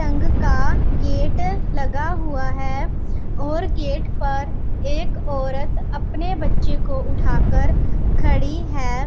रंग का गेट लगा हुआ है और गेट पर एक औरत अपने बच्चों को उठाकर खड़ी है।